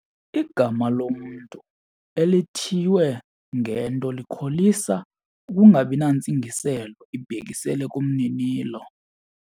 Igama lomntu elithiywe ngento likholisa ukungabi nantsingiselo ibhekiselele kumninilo.